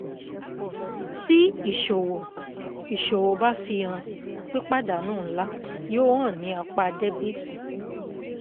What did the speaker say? Ti Iṣowo Iṣowo ba fihan pipadanu nla, yoo han ni apa debiti.